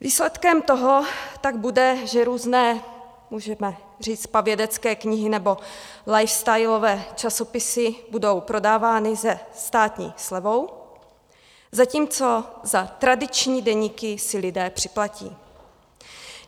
Výsledkem toho tak bude, že různé, můžeme říct pavědecké knihy nebo lifestylové časopisy budou prodávány se státní slevou, zatímco za tradiční deníky si lidé připlatí.